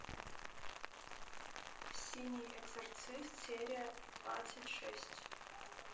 синий экзорцист серия двадцать шесть